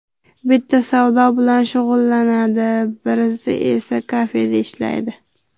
Bittasi savdo bilan shug‘ullanadi, birisi esa kafeda ishlaydi.